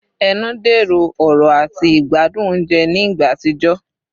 Ẹnu dẹrọ ọrọ ati igbadun ounjẹ ni igba atijọ